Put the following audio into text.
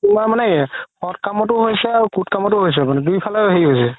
তুমাৰ মানে সদ কামতো হৈছে আৰু সুদ কামতো হৈছে মানে দুই ফালে হেৰি হৈছে